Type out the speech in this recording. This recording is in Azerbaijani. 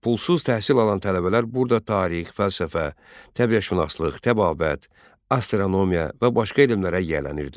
Pulsuz təhsil alan tələbələr burada tarix, fəlsəfə, təbiətşünaslıq, təbabət, astronomiya və başqa elmlərə yiyələnirdilər.